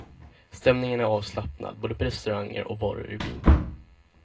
Stämningen är avslappnad på restauranger och barer i byn.